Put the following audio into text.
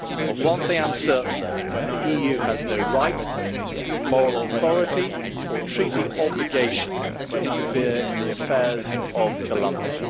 Of one thing I am certain, though the EU has no right, moral authority or treaty obligation to interfere in the affairs of Colombia.